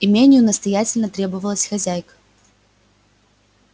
имению настоятельно требовалась хозяйка